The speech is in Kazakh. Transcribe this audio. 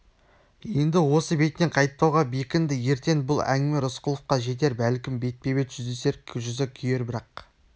енді осы бетінен қайтпауға бекінді ертең бұл әңгіме рысқұловқа жетер бәлкім бетпе-бет жүздесер жүзі күйер бірақ